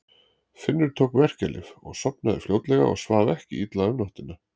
Finnur tók verkjalyf og sofnaði fljótlega og svaf ekki illa um nóttina.